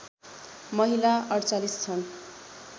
महिला ४८ छन्